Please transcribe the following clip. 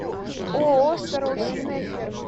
ооо страусиная ферма